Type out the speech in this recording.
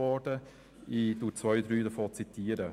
Ich zitiere zwei, drei dieser Aussagen: